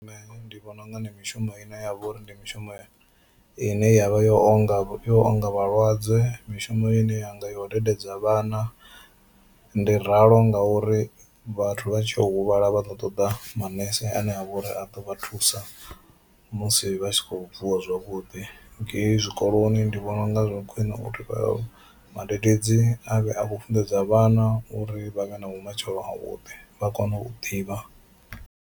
Nṋe ndi vhona unga ndi mishumo ine ya vha uri ndi mishumo ine ya vha yo onga yo onga vhalwadze, mishumo ine ya nga yo dededza vhana. Ndi ralo ngauri vhathu vha tshi ya u huvhala vha ḓo ṱoḓa manese ane a vha uri a ḓo vha thusa musi vha si kho vuwa zwavhuḓi, ngei zwikoloni ndi vhona unga zwa khwine uri vha vhadededzi avhe a vhu funḓedza vhana uri vha vhe na vhumatshelo ha vhuḓi vha kone u ḓivha.